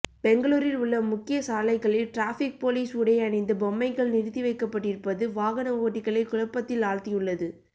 பெங்களூரில் உள்ள முக்கிய சாலைகளில் ட்ராஃபிக் போலீஸ் உடை அணிந்த பொம்மைகள் நிறுத்தி வைக்கப்பட்டிருப்பது வாகன ஓட்டிகளை குழப்பத்தில் ஆழ்த்தியுள்ளது